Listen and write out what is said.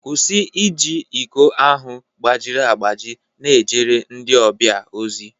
kwụsị iji iko ahụ gbajiri agbaji na-ejere ndị ọbịa ozi